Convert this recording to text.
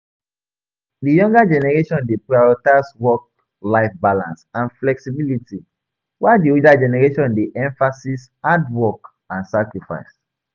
Di younger generation dey prioritize work-life balance and flexibility, while di older generation dey emphasis hard work and sacrifice.